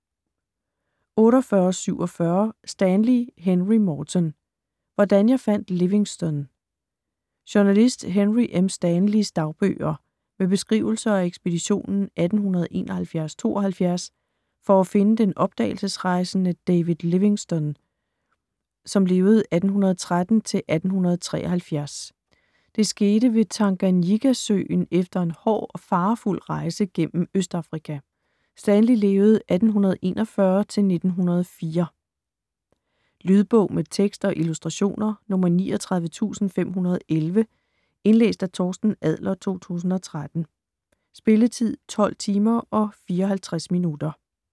48.47 Stanley, Henry Morton: Hvordan jeg fandt Livingstone Journalist Henry M. Stanleys (1841-1904) dagbøger med beskrivelser af ekspeditionen 1871-1872 for at finde den opdagelsesrejsende David Livingstone (1813-1873). Det skete ved Tanganyikasøen efter en hård og farefuld rejse gennem Østafrika. Lydbog med tekst og illustrationer 39511 Indlæst af Torsten Adler, 2013. Spilletid: 12 timer, 54 minutter.